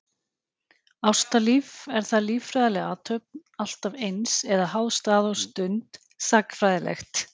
Ástalíf, er það líffræðileg athöfn alltaf eins, eða háð stað og stund, sagnfræðilegt?